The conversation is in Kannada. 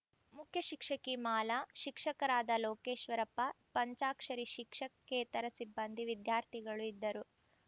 ಮುಖ್ಯ ಶಿಕ್ಷಕಿ ಮಾಲಾ ಶಿಕ್ಷಕರಾದ ಲೋಕೇಶ್ವರಪ್ಪ ಪಂಚಾಕ್ಷರಿ ಶಿಕ್ಷಕೇತರ ಸಿಬ್ಬಂದಿ ವಿದ್ಯಾರ್ಥಿಗಳು ಇದ್ದರು